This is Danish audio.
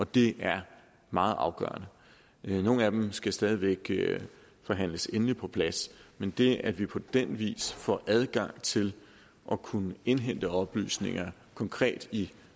det er meget afgørende nogle af dem skal stadig væk forhandles endeligt på plads men det at vi på den vis får adgang til at kunne indhente oplysninger konkret i